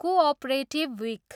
Cooperative week.